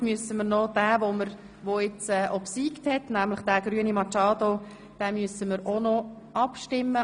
Nun müssen wir den obsiegenden, nämlich den Antrag Grüne Machado, noch beschliessen.